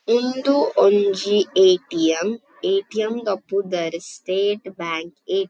ಇಂದು ಒಂಜಿ ATM. ATM. ದ ಪುದರ್ ಸ್ಟೇಟ್ ಬ್ಯಾಂಕ್ ಎ. ಟಿ. --